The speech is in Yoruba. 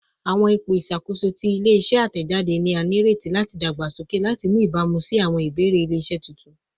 Awọn ipo iṣakoso ti ile-iṣẹ atẹjade ni a nireti lati dagbasoke lati ni ibamu si awọn ibeere ile-iṣẹ tuntun